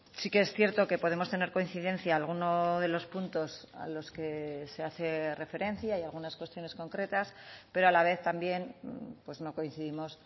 sí que es cierto que podemos tener coincidencia alguno de los puntos a los que se hace referencia y algunas cuestiones concretas pero a la vez también pues no coincidimos